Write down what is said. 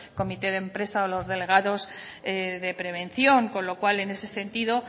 comité de empresa o los delegados de prevención con lo cual en ese sentido